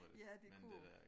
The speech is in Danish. Ja det kunne jo